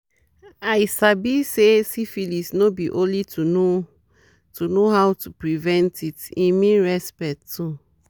i sabi say syphilis no be only to know to know how to prevent it e mean respect too